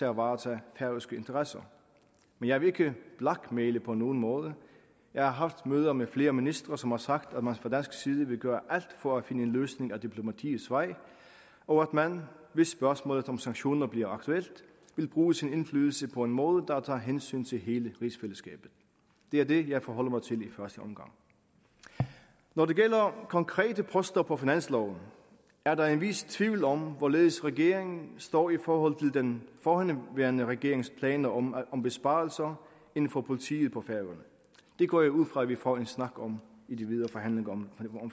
at varetage færøske interesser men jeg vil ikke blackmaile på nogen måde jeg har haft møder med flere ministre som har sagt at man fra dansk side vil gøre alt for at finde en løsning ad diplomatiets vej og at man hvis spørgsmålet om sanktioner bliver aktuelt vil bruge sin indflydelse på en måde der tager hensyn til hele rigsfællesskabet det er det jeg forholder mig til i første omgang når det gælder konkrete poster på finansloven er der en vis tvivl om hvorledes regeringen står i forhold til den forhenværende regerings planer om om besparelser inden for politiet på færøerne det går jeg ud fra at vi får en snak om i de videre forhandlinger om